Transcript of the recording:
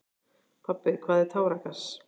Pabbi, hvað er táragas?